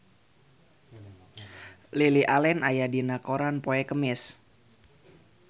Lily Allen aya dina koran poe Kemis